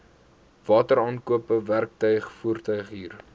wateraankope werktuig voertuighuur